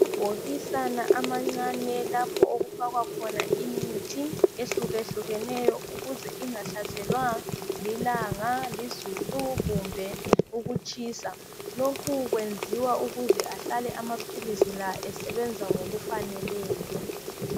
Amabhokisana amancane lapho okufakwa khona imithi ehlukahlukeneyo ukuze ingahlaselwa lilanga, lizulu, kumbe ukutshisa. Lokhu kwenziwa ukuze ahlale amaphilisi la esebenza ngokufaneleyo.